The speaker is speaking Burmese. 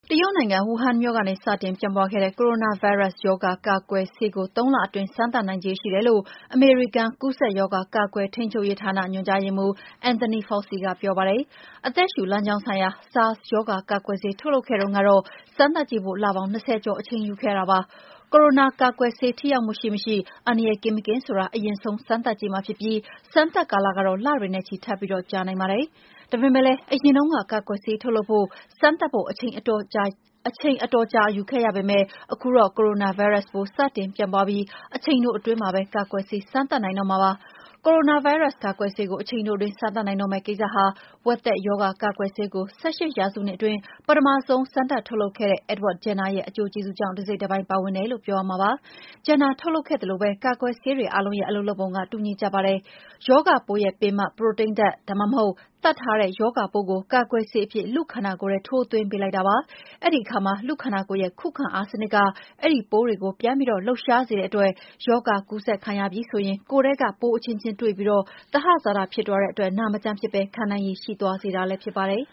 တရုတ်နိုင်ငံ၊ ဝူဟန်မြို့ကနေ စတင်ပြန့်ပွားခဲ့တဲ့ ကိုရိုနာဗိုင်းရပ်စ်ရောဂါ ကာကွယ်ဆေးကို ၃ လအတွင်း စမ်းသပ်နိုင်ခြေရှိတယ်လို့ အမေရိကန် ကူးစက်ရောဂါ ကာကွယ်ထိန်းချုပ်ရေးဌာန ညွှန်ကြားရေးမှူး Anthony Fauci က ပြောပါတယ်။ အသက်ရှူလမ်းကြောင်းဆိုင်ရာ SARS ရောဂါ ကာကွယ်ဆေး ထုတ်လုပ်ခဲ့တုန်းကတော့ စမ်းသပ်ကြည့်ဖို့ လပေါင်း ၂၀ ကျော် အချိန်ယူခဲ့ရတာပါ။ ကိုရိုနာကာကွယ်ဆေး ထိရောက်မှုရှိမရှိ၊ အန္တရာယ်ကင်းမကင်းဆိုတာ အရင်ဆုံး စမ်းသပ်ကြည့်မှာဖြစ်ပြီး စမ်းသပ်ကာလကတော့ လတွေနဲ့ချီ ထပ်ပြီး ကြာနိုင်ပါတယ်။ ဒါပေမယ့်လည်း အရင်တုန်းက ကာကွယ်ဆေးထုတ်လုပ်ဖို့၊ စမ်းသပ်ဖို့ အချိန်အတော်ကြာ ယူခဲ့ရပေမယ့် ခုတော့ ကိုရိုနာဗိုင်းရပ်စ် စတင်ပြန့်ပွားပြီး အချိန်တိုအတွင်းမှာပဲ ကာကွယ်ဆေး စမ်းသပ်နိုင်တော့မှာ ဖြစ်ပါတယ်။ ကိုရိုနာဗိုင်းရပ်စ် ကာကွယ်ဆေးကို အချိန်တိုအတွင်း စမ်းသပ်နိုင်တော့မယ့် ကိစ္စဟာ ဝက်သက်ရောဂါ ကာကွယ်ဆေးကို ၁၈ ရာစုနှစ်အတွင်း ပထမဆုံး ထုတ်လုပ်ခဲ့တဲ့ Edward Jenner ရဲ့ အကျိုးကျေးဇူးကြောင့်လည်း ပါတယ်လို့ ပြောရမှာဖြစ်ပါတယ်။ Jenner ထုတ်လုပ်ခဲ့သလိုပဲ ကာကွယ်ဆေးတွေအားလုံးရဲ့ အလုပ်လုပ်ပုံက တူညီကြပါတယ်။ ရောဂါပိုးရဲ့ ပင်မ ပရိုတိန်းဓာတ်၊ ဒါမှမဟုတ် သတ်ထားတဲ့ ရောဂါပိုးကို ကာကွယ်ဆေးအဖြစ် လူ့ခန္ဓာကိုယ်ထဲ ထိုးသွင်းပေးလိုက်တာပါ။ အဲဒီအခါမှာ လူ့ခန္ဓာကိုယ်ရဲ့ ခုခံအားစနစ်က အဲဒီပိုးတွေကို ပြန်ပြီး လှုပ်ရှားစေတဲ့အတွက် ရောဂါကူးစက်ခံရပြီဆိုရင် ကိုယ်ထဲက ပိုးအချင်းချင်း တွေ့ပြီး သဟဇာတ ဖြစ်သွားတဲ့အတွက် နာမကျန်းမဖြစ်ဘဲ ခံနိုင်ရည်ရှိသွားစေတာ ဖြစ်ပါတယ်